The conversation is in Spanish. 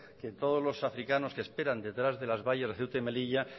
que todos los africanos que esperan detrás de las vallas de ceuta y melilla